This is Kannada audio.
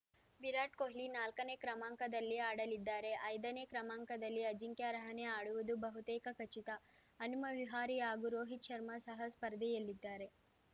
ವಿರಾಟ್‌ ಕೊಹ್ಲಿ ನಾಲ್ಕನೇ ಕ್ರಮಾಂಕದಲ್ಲಿ ಆಡಲಿದ್ದಾರೆ ಐದನೇ ಕ್ರಮಾಂಕದಲ್ಲಿ ಅಜಿಂಕ್ಯ ರಹಾನೆ ಆಡುವುದು ಬಹುತೇಕ ಖಚಿತ ಹನುಮ ವಿಹಾರಿ ಹಾಗೂ ರೋಹಿತ್‌ ಶರ್ಮಾ ಸಹ ಸ್ಪರ್ಧೆಯಲ್ಲಿದ್ದಾರೆ